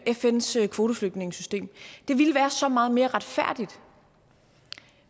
fns kvoteflygtningesystem det ville være så meget mere retfærdigt